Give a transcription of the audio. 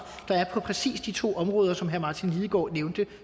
der er på præcis de to områder som herre martin lidegaard nævnte